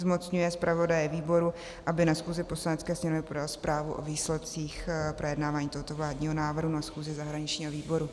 zmocňuje zpravodaje výboru, aby na schůzi Poslanecké sněmovny podal zprávu o výsledcích projednávání tohoto vládního návrhu na schůzi zahraničního výboru.